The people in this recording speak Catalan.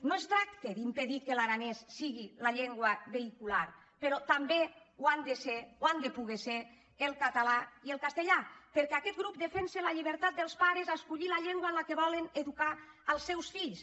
no es tracta d’impedir que l’aranès sigui la llengua ve·hicular però també ho han de ser ho han de poder ser el català i el castellà perquè aquest grup defensa la lli·bertat dels pares a escollir la llengua en què volen edu·car els seus fills